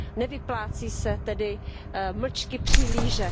Nevyplácí se tedy mlčky přihlížet.